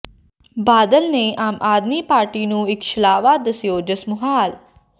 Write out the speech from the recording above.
ਬਾਦਲ ਨੇ ਆਮ ਆਦਮੀ ਪਾਰਟੀ ਨੂੰ ਇਕ ਛਲਾਵਾ ਦੱਸਿਆਜੋਸ਼ ਮੁਹਾਲ